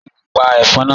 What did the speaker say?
Ṣe o le pa ẹfọn naa?